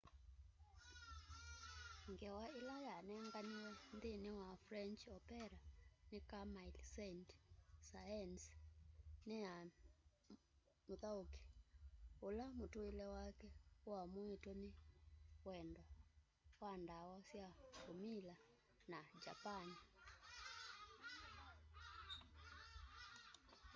ngewa ila yanenganiwe nthini wa french opera ni camille saint-saens ni ya muthauki ula mutuile wake uamuitwe ni wendo wa ndawa sya umila na japan